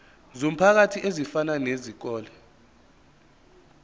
zomphakathi ezifana nezikole